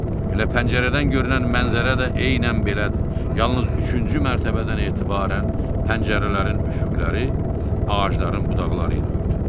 Elə pəncərədən görünən mənzərə də eynən belədir, yalnız üçüncü mərtəbədən etibarən pəncərələrin üfüqləri ağacların budaqları ilə örtülür.